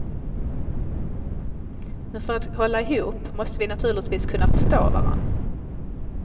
Men för att hålla ihop måste vi naturligtvis kunna förstå varann.